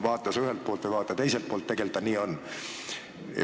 Vaata ühelt poolt või vaata teiselt poolt – tegelikult see nii on.